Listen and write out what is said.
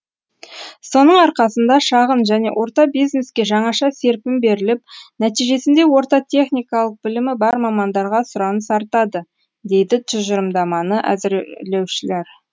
соның арқасында шағын және орта бизнеске жаңаша серпін беріліп нәтижесінде орта техникалық білімі бар мамандарға сұраныс артады дейді тұжырымдаманы әзірлеушілер